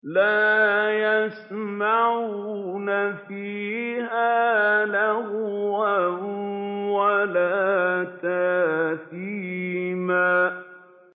لَا يَسْمَعُونَ فِيهَا لَغْوًا وَلَا تَأْثِيمًا